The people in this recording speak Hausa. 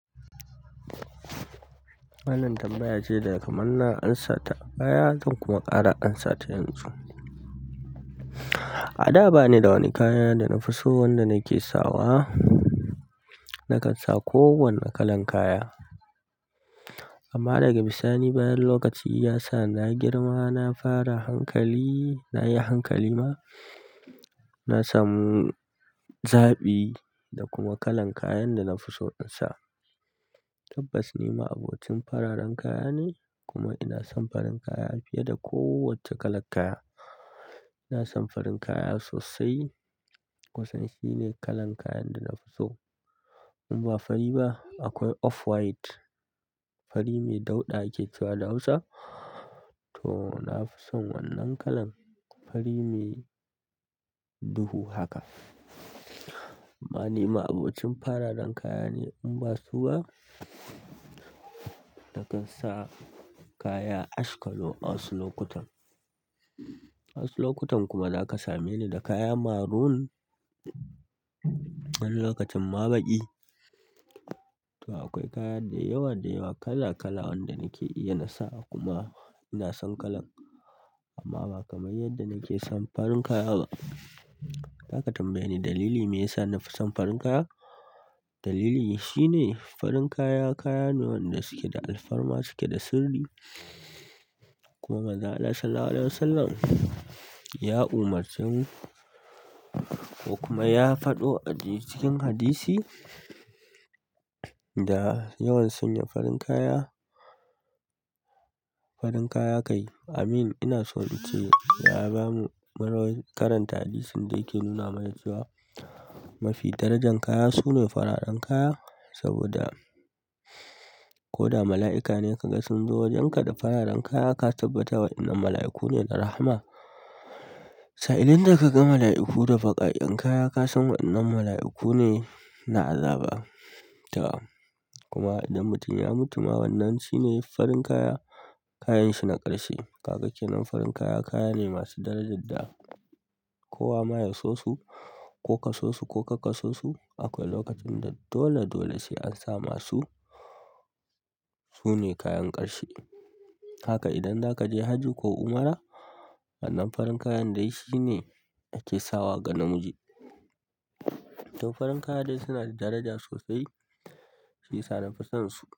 Wannan kam baya shaida kamar na amsa ta, bayan hakan kuma ƙara amsa ta yanzu. A da bani da wani kaya da na fi so wanda na ke sawa. Nakan sa kowani kalan kaya. Amma daga bisani bayan lokaci ya sa na girma, na fara hankali, na yi hankali ma, na samu zaɓi da kuma kalan kayan da nafi so in sa. Tabbas ni ma'abocin fararen kaya ne, kuma ina son farin kaya fiyeda ko wacce kalan kaya. Ina son farin kaya sosai. Kunsan shine kalan kayan da nafi so. In ba fari ba, akwai offwhite, fari mai dauɗa ake cewa da Hausa. To na fi son wannan kalan, fari mai duhu haka. Amma ni ma'abocin fararen kaya ne. In ba su ba, nakan sa kaya ash color a wasu lokutan. A wasu lokutan kuma za ka same ni da kaya maroon. Wani lokacin ma baƙi. To akwai kaya da yawa--da yawa kala--kala wanda nake iya na sawa kuma ina son kalan. Amma ba kamar yadda nake son farin kaya ba. In a ka tambaye ni dalili me yasa na fi son farin kaya? Dalili shi ne farin kaya, kaya ne wanda suke da alfarma, suke da sirri. Kuma Manzon Allah Sallallahu Alaihi Wasallam ya umurce mu ko kuma ya faɗo a dai cikin hadisi da yawan sanya farin kaya, farin kaya kai. Amin ina so in ce ya bamu muryoyin karanta hadisin da yake nuna mana cewa mafi darajan kaya su ne fararen kaya. Saboda ko da mala'ika ne ka ga sun zo wajenka da fararen kaya, ka tabbatar waƴannan mala'iku ne na rahama. Sa'idun da ka ga mala'iku da baƙaƙen kaya, ka san waƴannan mala'iku ne na azaba. To, kuma idan mutum ya mutu ma wannan shi ne farin kaya, kayan shi na ƙarshe. Kaga ke nan farin kaya kaya ne masu darajan da kowa ma ya so su ko ka so su ko kar ka so su. Akwai lokacin da dole dole sai an sama su. Su ne kayan ƙarshe. Haka idan zakaje haji ko umra wannan farin kayan dai shi ne ake sawa ga namiji. To farin kaya dai suna da daraja sosai shi yasa na fi son su.